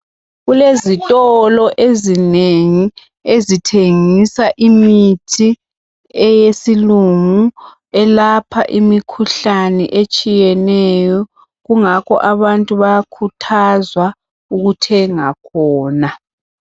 Kulezitolo ezinengi ezithengisa imithi eyesilungu elapha imikhuhlane etshiyeneyo kungakho abantu bayakhuthazwa ukuthenga khona.